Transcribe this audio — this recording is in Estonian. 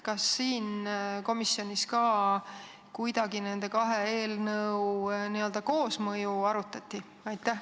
Kas komisjonis ka kuidagi nende kahe eelnõu n-ö koosmõju arutati?